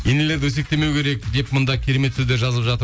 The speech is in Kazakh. енелерді өсектемеу керек деп мында керемет сөздер жазып жатыр